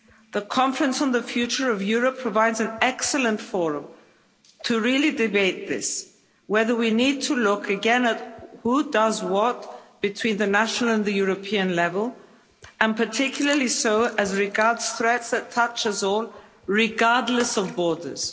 The Conference on the Future of Europe provides an excellent forum to really debate this, whether we need to look again at who does what between the national and the European level, and particularly so as regards threats that touch us all, regardless of borders.